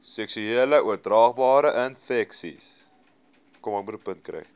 seksueel oordraagbare infeksies